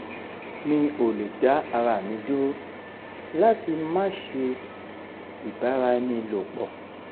mi ò lè dá ara mi dúró láti máa ṣe ibara ẹni lopo